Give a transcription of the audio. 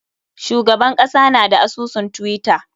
Shugaban kasa na da asusun twitter.